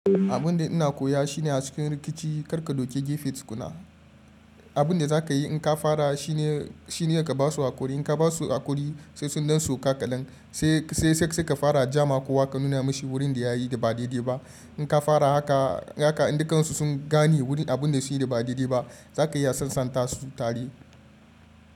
Abun da ina koya shine a cikin rikici kar ka dauke gefe tukuna. Abun da za ka yi in ka fara shine, shine ka ba su hakuri. In ka ba su hakuri sai sun don sauka kaɗan, sai, sai, sai ka fara jama. Ko wa ka nuna mashi wurin da ya yi da ba daidai ba. In ka fara haka, haka dukansu sun gane wurin abun da su yi da ba daidai ba. Za ka iya sansanta su tare.